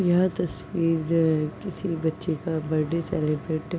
यह तस्वीर किसी बच्चे का बरडे सेलिब्रेट --